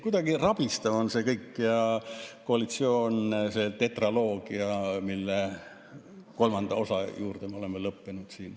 Kuidagi rabistav on kogu see tetraloogia, mille kolmanda osa juurde me oleme jõudnud.